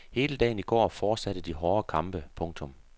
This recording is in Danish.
Hele dagen i går fortsatte de hårde kampe. punktum